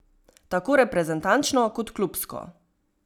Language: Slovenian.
Tako reprezentančno kot klubsko.